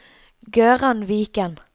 Gøran Viken